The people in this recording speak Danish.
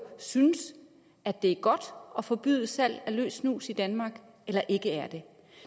synes at det er godt at forbyde salg af løs snus i danmark eller ikke er det